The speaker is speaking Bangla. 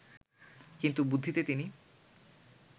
কিন্তু বুদ্ধিতে তিনি